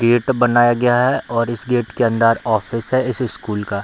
Gate बनाया गया है और इस गेट के अंदर ऑफिस है इस स्कूल का।